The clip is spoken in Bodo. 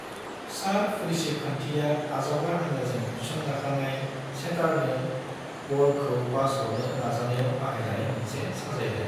सार्भ-रिसीभ खान्थिया आजावग्रा हान्जाजों थिसनजाखानाय सेटारनो बलखौ पास हरनो नाजानायाव बाहायजानाय मोनसे साजायलाय।